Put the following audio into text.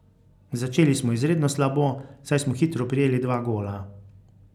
Začeli smo izredno slabo, saj smo hitro prejeli dva gola.